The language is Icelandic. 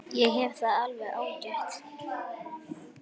Ég hef það alveg ágætt.